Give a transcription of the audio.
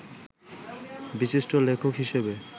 বিশিষ্ট লেখক হিসেবে